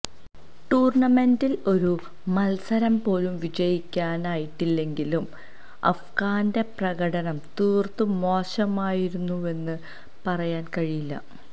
ടൂര്ണമെന്റില് ഒരു മല്സരം പോലും വിജയിക്കാനായിട്ടില്ലെങ്കിലും അഫ്ഗാന്റെ പ്രകടനം തീര്ത്തും മോശമായിരുന്നുവെന്നു പറയാന് കഴിയില്ല